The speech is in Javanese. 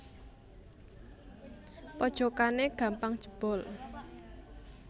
Pojokane gampang jebol